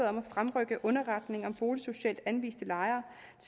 om at fremrykke underretning om boligsocialt anviste lejere